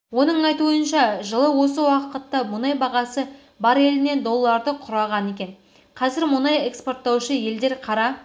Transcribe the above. оның айтуынша жылы осы уақытта мұнай бағасы бареліне долларды құраған екен қазір мұнай экспорттаушы елдер қара